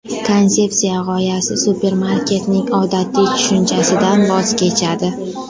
Konsepsiya g‘oyasi supermarketning odatiy tushunchasidan voz kechadi.